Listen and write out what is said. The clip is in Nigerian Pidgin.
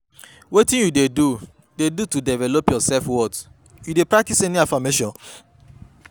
wetin you dey do dey do to develop your self-worth, you dey practice any affirmation?